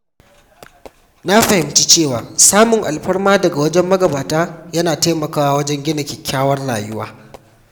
Na fahimci cewa samun alfarma daga wajen magabata yana taimakawa wajen gina kyakkyawar rayuwa.